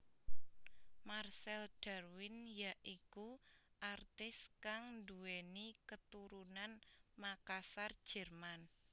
Marcel Darwin ya iku artis kang duwéni keturunan Makassar Jerman